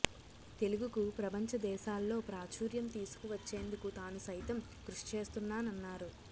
తెలుగుకు ప్రపంచ దేశాల్లో ప్రాచుర్యం తీసుకువచ్చేందుకు తాను సైతం కృషి చేస్తున్నాన్నారు